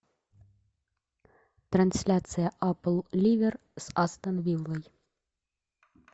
трансляция апл ливер с астон виллой